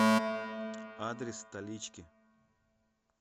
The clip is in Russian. адрес столички